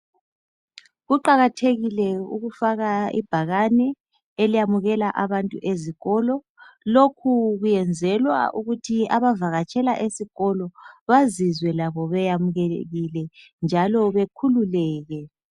Kuqakathekile ukufaka ibhakane eliyamukela abantu ezikolo. Lokhu kuyenzelwa ukuthi abavakatshela esikolo bazizwe labo beyamkelekile njalo bekhululeke.